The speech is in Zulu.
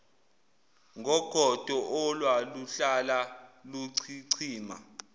ngogodo olwaluhlala luchichima